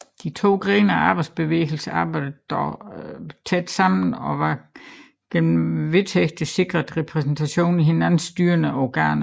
De to grene af arbejderbevægelsen arbejdede dog tæt sammen og var gennem vedtægterne sikret repræsentation i hinandens styrende organer